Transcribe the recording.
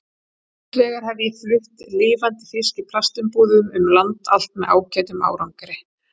Hins vegar hef ég flutt lifandi fisk í plastumbúðum um land allt með ágætum árangri.